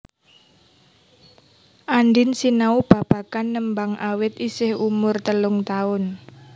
Andien sinau babagan nembang awit isih umur telung taun